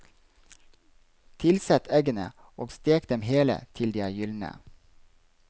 Tilsett eggene, og stek dem hele til de er gyldne.